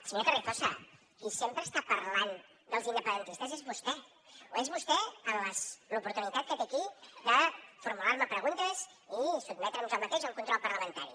senyor carrizosa qui sempre està parlant dels independentistes és vostè és vostè en l’oportunitat que té aquí de formular me preguntes i sotmetre’m jo mateix al control parlamentari